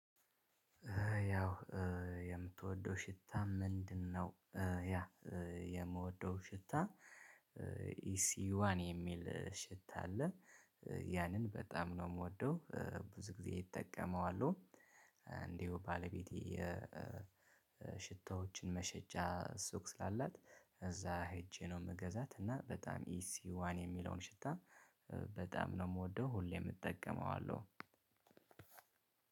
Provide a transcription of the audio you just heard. ያው የምትወደው ሽታ ምንድነው? ያ የምወደው ሽታ ኢሲዋን የሚል ሽታ አለ ያንን በጣም ነው የምወደው ብዙ ጊዜ እጠቀመዋለሁ። እንዲሁ ባለቤቴ ሽቶዎችን መሸጫ ሱቅ ስላላት እዛ ሄጄ ነው የምገዛት። እና በጣም ኢሲዋን የሚለውን ሽታ በጣም ነው የምወደው ሁሌም እጠቀመዋለሁ።